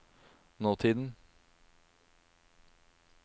nåtiden